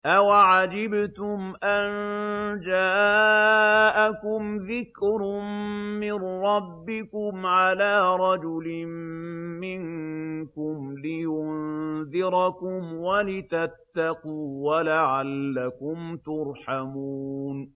أَوَعَجِبْتُمْ أَن جَاءَكُمْ ذِكْرٌ مِّن رَّبِّكُمْ عَلَىٰ رَجُلٍ مِّنكُمْ لِيُنذِرَكُمْ وَلِتَتَّقُوا وَلَعَلَّكُمْ تُرْحَمُونَ